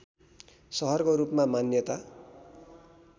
सहरको रूपमा मान्यता